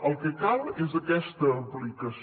el que cal és aquesta aplicació